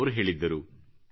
ಎಂದು ಅವರು ಹೇಳಿದ್ದರು